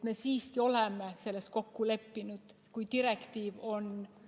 Me siiski oleme selles kokku leppinud, kui direktiiv on ......